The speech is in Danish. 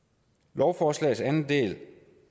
lovforslagets anden del